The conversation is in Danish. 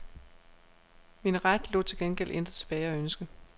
Min ret lod til gengæld intet tilbage at ønske.